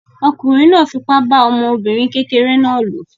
Ọkùnrin náà fipá bá ọmọbìnrin kékeré náà lò.